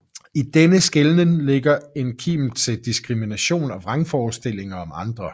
I denne skelnen ligger en kim til diskrimination og vrangforestillinger om andre